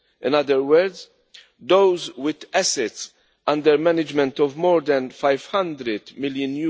In other words, those with assets under management of more than EUR 500 million.